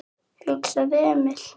hugsaði Emil.